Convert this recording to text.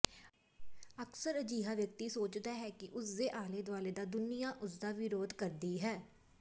ਅਕਸਰ ਅਜਿਹਾ ਵਿਅਕਤੀ ਸੋਚਦਾ ਹੈ ਕਿ ਉਸਦੇ ਆਲੇ ਦੁਆਲੇ ਦਾ ਦੁਨੀਆਂ ਉਸਦਾ ਵਿਰੋਧ ਕਰਦੀ ਹੈ